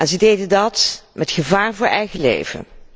Ze deden dat met gevaar voor eigen leven.